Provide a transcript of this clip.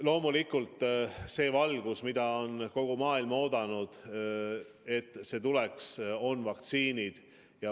Loomulikult, see valgus, mida on kogu maailm oodanud, on vaktsiinid.